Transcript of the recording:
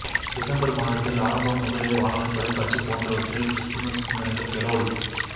December மாததில் ஆரம்பம் முதலே வானொலி தொலைக்காட்சி போன்றவற்றில் கிறிஸ்துமஸ் சிந்தனைகள் கெரொல்